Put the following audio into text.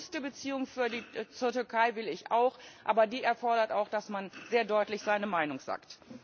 Eine robuste Beziehung zur Türkei will ich auch, aber die erfordert auch, dass man sehr deutlich seine Meinung sagt!